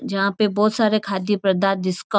जहा पे बहुत सारे खाद्य पदार्थ जिसका --